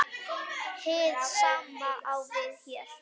Hið sama á við hér.